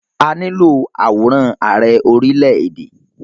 A nílo àwòrán Ààrẹ orílè-èdè.